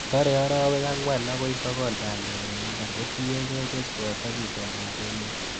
Tore orowek angwan akoi sokol bandek en mbar kotiengei keswot ak itondab emet.